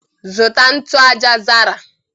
Zụta ntụ aja zara